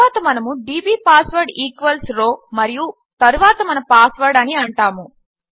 తరువాత మనము DB password equals row మరియు తరువాత మన పాస్వర్డ్ అని అంటాము